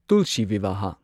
tulsi Vivah